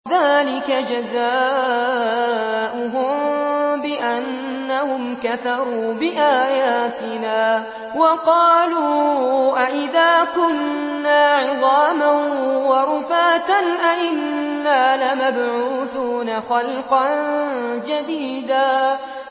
ذَٰلِكَ جَزَاؤُهُم بِأَنَّهُمْ كَفَرُوا بِآيَاتِنَا وَقَالُوا أَإِذَا كُنَّا عِظَامًا وَرُفَاتًا أَإِنَّا لَمَبْعُوثُونَ خَلْقًا جَدِيدًا